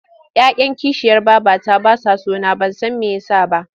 Ya 'yan kishiyar babata ba sa so na ban san me ya sa ba.